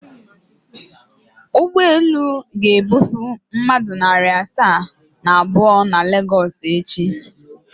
Ụgbọelu a ga-ebufe mmadụ narị asaa na abụọ na Lagos echi?